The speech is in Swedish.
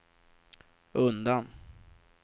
undan